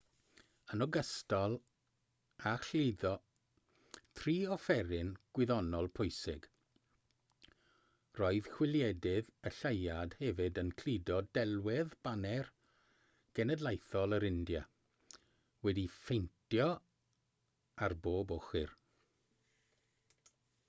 yn ogystal â chludo tri offeryn gwyddonol pwysig roedd chwiliedydd y lleuad hefyd yn cludo delwedd baner genedlaethol yr india wedi'i phaentio ar bob ochr